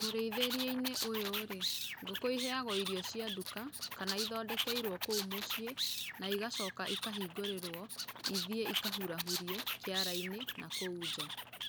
Mũrĩithĩrie-inĩ ũyũ rĩ, ngũkũ iheagwo irio cia nduka kana ithondekeirwo kũu mũciĩ na igocoka ikahingũrĩrwo ithiĩ ikahurahurie kĩara-inĩ na kũu nja.